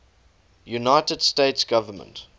united states government